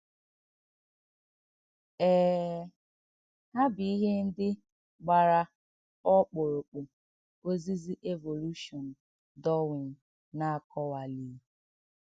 Èè è, hà bụ̀ íhè ǹdí gbàrà ọkpụrụkpụ òzìzì Évòlùshọǹ Darwin nà-àkọ̀wàlíghì.